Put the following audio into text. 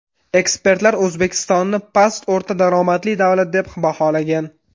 Ekspertlar O‘zbekistonni past-o‘rta daromadli davlat deb baholagan.